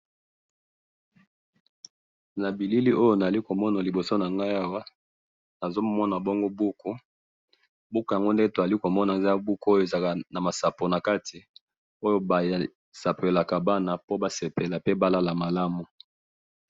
na bilili oyo tozali komona liboso nanga awa na zo mona bongo buku buku yango nde tozali ko mona buku eza nama sapo na kati oyo ba sapelaka bana po ba sepela pe ba lala malamu